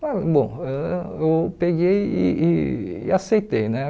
Ah bom, ãh eu peguei e e e aceitei né.